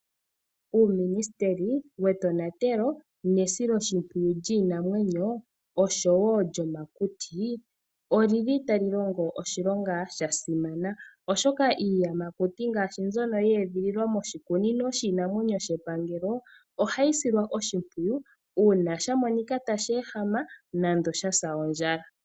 Uuministeli wetonatelo nesiloshimpwiyu lyiinamwenyo oshowo lyomakuti, oli li tali longo oshilonga sha simana oshoka iiyamakuti ngaashi mbyono ye edhililwa moshikunino shiinamwenyo shepangelo ohayi silwa oshimpwiyu, uuna sha monika tashi ehama nenge sha sa ondjala.